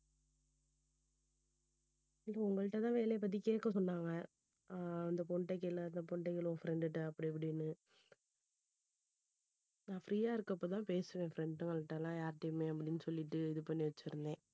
இப்ப உங்கள்ட்ட தான் வேலைய பத்தி கேக்க சொன்னாங்க அஹ் அந்த பொண்ணுகிட்ட கேளு அந்த பொண்ணுகிட்ட கேளு உன் friend ட்ட அப்படி இப்படின்னு நான் free யா இருக்கப்ப தான் பேசுவேன் friend ங்ககிட்ட எல்லாம் யார்டையுமே அப்படின்னு சொல்லிட்டு இது பண்ணி வச்சிருந்தேன்